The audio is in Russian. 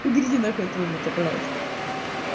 уберите нахуй этого бота пожалуйста